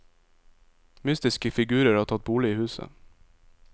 Mystiske figurer har tatt bolig i huset.